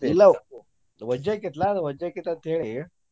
ಇಲ್ಲಾ ವಜ್ಜೆ ಆಕ್ಕೇತಿಲಾ ಅದ ವಜ್ಜೆ ಅಕ್ಕೆತಿ ಅಂತ ಹೇಳಿ.